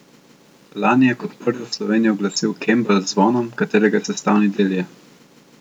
Lani je kot prvi v Sloveniji uglasil kembelj z zvonom, katerega sestavni del je.